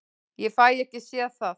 Ég fæ ekki séð það.